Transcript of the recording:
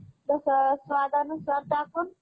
हम्म आणि काय? college?